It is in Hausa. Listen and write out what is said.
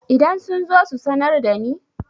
idan sun zo ku sanar da ni?